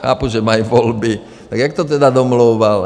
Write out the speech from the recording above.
Chápu, že mají volby, tak jak to tedy domlouval?